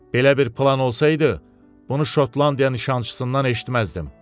Belə bir plan olsaydı, bunu Şotlandiya nişancısından eşitməzdim.